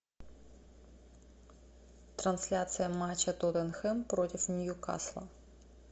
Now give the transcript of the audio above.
трансляция матча тоттенхэм против ньюкасла